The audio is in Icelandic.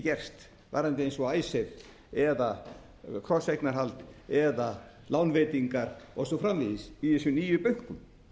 gerst varðandi eins og icesave eða krosseignarhald eða lánveitingar og svo framvegis í þessum nýju bönkum